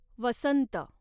वसंत